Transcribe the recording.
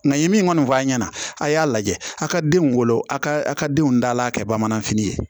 Nka ye min kɔni fɔ a ɲɛna a y'a lajɛ a ka denw wolo a ka a ka denw dal'a kɛ bamananfini ye